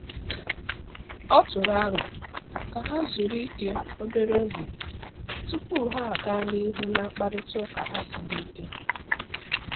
O tụrụ aro ka ha zuru ike obere oge tupu ha aga n'ihu na mkparịta ụka ha siri ike.